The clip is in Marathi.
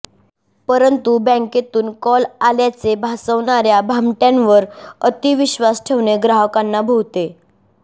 परंतु बॅंकेतून कॉल आल्याचे भासवणाऱया भामटयांवर अतिविश्वास ठेवणे ग्राहकांना भोवते